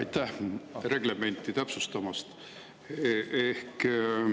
Aitäh reglementi täpsustamast!